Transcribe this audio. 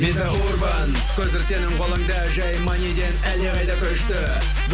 виза урбан көзір сенің қолыңда жай маниден әлдеқайда күшті